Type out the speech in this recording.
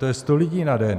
To je 100 lidí na den.